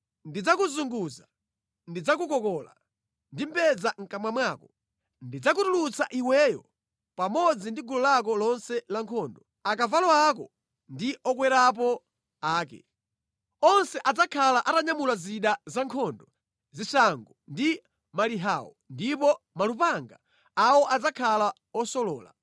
Ndidzakuzunguza, ndidzakukola ndi mbedza mʼkamwa mwako. Ndidzakutulutsa iweyo pamodzi ndi gulu lako lonse la nkhondo, akavalo ako ndi okwerapo ake. Onse adzakhala atanyamula zida za nkhondo, zishango ndi malihawo ndipo malupanga awo adzakhala osolola.